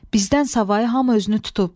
Bizdən savayı hamı özünü tutub.